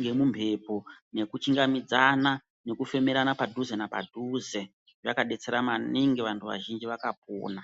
ngemumhepo nekuchingamidzana ngekufemerana padhuze napadhuze zvakabetsera maningi vantu vazhinji vakapona.